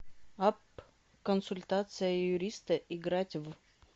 апп консультация юриста играть в